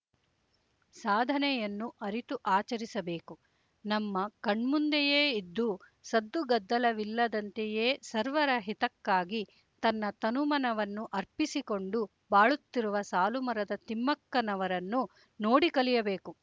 ಸಾಧನೆಯನ್ನು ಅರಿತು ಆಚರಿಸಬೇಕು ನಮ್ಮ ಕಣ್ಮುಂದೆಯೇ ಇದ್ದು ಸದ್ದುಗದ್ದಲವಿಲ್ಲದಂತೆಯೇ ಸರ್ವರ ಹಿತಕ್ಕಾಗಿ ತನ್ನ ತನುಮನವನ್ನು ಅರ್ಪಿಸಿಕೊಂಡು ಬಾಳುತ್ತಿರುವ ಸಾಲುಮರದ ತಿಮ್ಮಕ್ಕನವರನ್ನು ನೋಡಿ ಕಲಿಯಬೇಕು